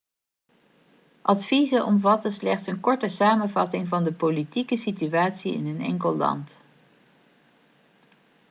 adviezen omvatten slechts een korte samenvatting van de politieke situatie in een enkel land